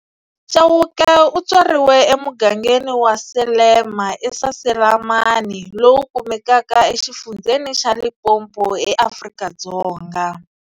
Chauke u tswariwe emugangeni wa Salema eSaselamani, lowu kumekaka e xifundzheni xa Limpopo, eAfrika-Dzonga.